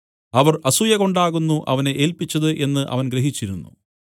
അവർ അസൂയകൊണ്ടാകുന്നു അവനെ ഏല്പിച്ചത് എന്നു അവൻ ഗ്രഹിച്ചിരുന്നു